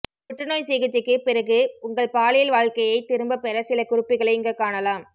புற்றுநோய் சிகிச்சைக்குப் பிறகு உங்கள் பாலியல் வாழ்க்கையைத் திரும்பப் பெற சிலகுறிப்புகளை இங்கு காணலாம்